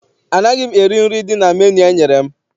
Anaghị m eri nri dị na menu enyere m.